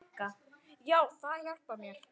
Já, það hjálpar mér.